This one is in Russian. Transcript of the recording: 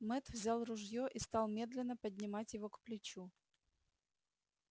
мэтт взял ружье и стал медленно поднимать его к плечу